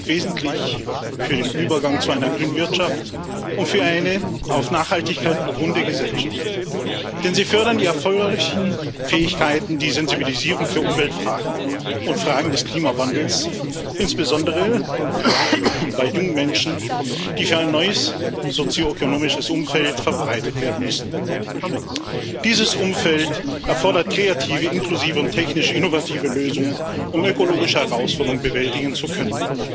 Sie sind wesentlich für den Übergang zu einer grünen Wirtschaft und für eine auf Nachhaltigkeit beruhende Gesellschaft, denn sie fördern die erforderlichen Fähigkeiten, wie die Sensibilisierung für Umweltfragen und Fragen des Klimawandels insbesondere bei jungen Menschen, die für ein neues sozioökonomisches Umfeld verbreitet werden müssen. Dieses Umfeld erfordert kreative inklusive und technisch innovative Lösungen, um ökologische Herausforderungen bewältigen zu können.